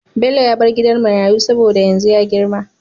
Bello ya bar gidan marayu saboda yanzu ya girma